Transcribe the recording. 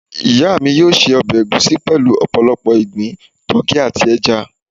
iya mi yóò ṣe ọbẹ̀ ègúsi pelu opolopo igbin, tuki ati ẹja.